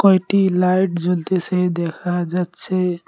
কয়টি লাইট জ্বলতেসে দেখা যাচ্ছে।